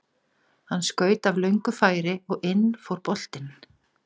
Hann skaut af löngu færi og inn fór boltinn.